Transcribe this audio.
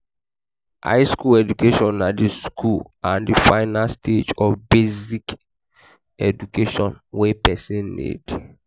high school education na the school and final stage of basic education wey persin need